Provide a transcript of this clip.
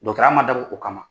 Dɔtɔrɔya man dabɔ o kama.